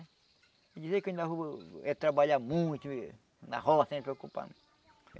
E dizer que eu ainda vou é trabalhar muito na roça sem se preocupar.